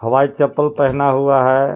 हवाई चप्पल पहना हुआ है.